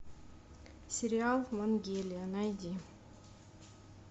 сериал вангелия найди